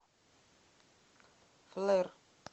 флер